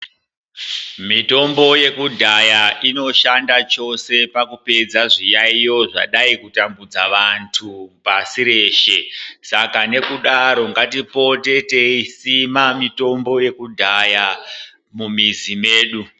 Mitombo yekudhaya inoshanda chose pakupedza zviyaiyo zvadai kutambudza vantu pasi reshe. Saka nekudaro ngatipote teisima mitombo yekudhaya mumizi medu.